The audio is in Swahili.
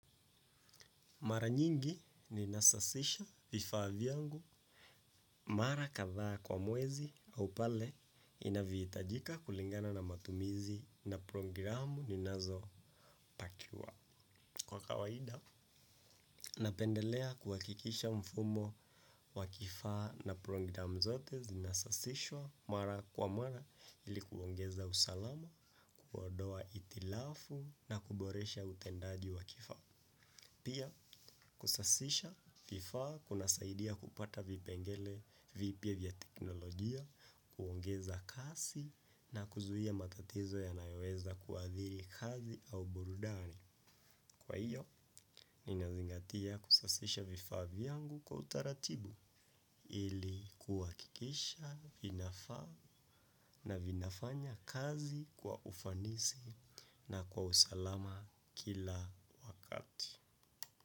Mara nyingi ninasasisha vifaa vyangu, mara kadha kwa mwezi au pale inavyohitajika kulingana na matumizi na programu ninazopakiwa. Kwa kawaida napendelea kuhakikisha mfumo wa kifaa na programu zote zinasasishwa mara kwa mara ili kuongeza usalama kuondoa hitirafu na kuboresha utendaji wa kifaa. Pia kusasisha vifaa kunasaidia kupata vipengele vipya vya teknolojia, kuongeza kasi na kuzuia matatizo yanayoeza kuadhiri kazi au burudani. Kwa hiyo, ninazingatia kusasisha vifaa vyangu kwa utaratibu ili kuhakikisha vinafaa na vinafanya kazi kwa ufanisi na kwa usalama kila wakati.